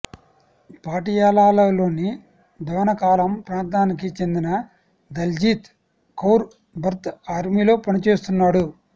పాటియాలాలోని దోణకాలాం ప్రాంతానికి చెందిన దల్జీత్ కౌర్ భర్త ఆర్మీలో పనిచేస్తున్నాడు